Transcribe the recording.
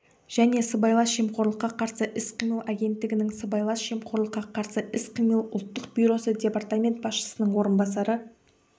және сыбайлас жемқорлыққа қарсы іс-қимыл агенттігінің сыбайлас жемқорлыққа қарсы іс-қимыл ұлттық бюросы департамент басшысының орынбасары